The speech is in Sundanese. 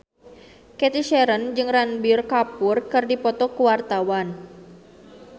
Cathy Sharon jeung Ranbir Kapoor keur dipoto ku wartawan